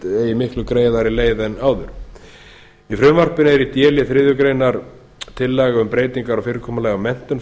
eigi miklu greiðari leið en áður í frumvarpinu er í d lið þriðju grein tillaga um breytingar á fyrirkomulagi á menntun